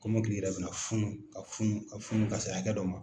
Kɔmɔkili yɛrɛ bɛna funu ka funu ka funu ka se hakɛ dɔ ma,